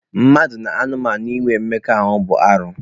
Mmadụ na anụmanụ inwe mmekọahụ bụ arụ.